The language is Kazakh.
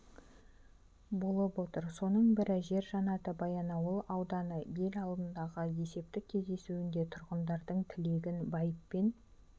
болып отыр соның бірі жер жаннаты баянауыл ауданы ел алдындағы есептік кездесуінде тұрғындардың тілегін байыппен